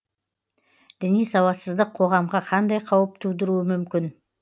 діни сауатсыздық қоғамға қандай қауіп тудыруы мүмкін